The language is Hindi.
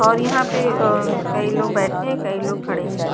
और यहां पे अह कई लोग बैठे हैं कई लोग खड़े हैं।